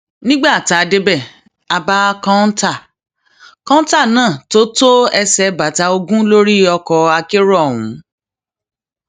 nígbà tá a débẹ a bá kọńtà kọńtà náà tó tó ẹsẹ bàtà ogún lórí ọkọ akérò ọhún